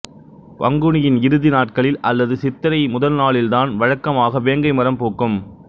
பங்குனியின் இறுதிநாட்களில் அல்லது சித்திரை முதல் நாளில் தான் வழக்கமாக வேங்கை மரம் பூக்கும்